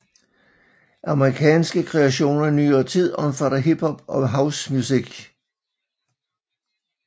Amerikanske kreationer i nyere tid omfatter hip hop and house music